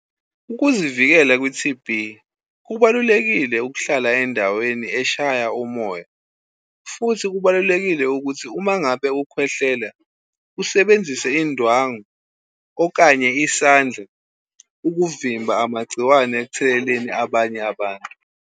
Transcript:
Ukuzivikela kwi-T_B, kubalulekile ukuhlala endaweni eshaya umoya, futhi kubalulekile ukuthi uma ngabe ukhwehlela usebenzise indwangu okanye isandla ukuvimba amagciwane ekutheleleni abanye abantu.